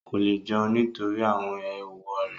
Kò lè jẹun nítorí àwọn ééwo rẹ̀